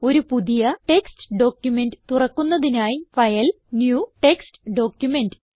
ഒരു പുതിയ text document തുറക്കുന്നതിനായി ഫൈൽ ന്യൂ ടെക്സ്റ്റ് ഡോക്യുമെന്റ്